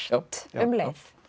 um leið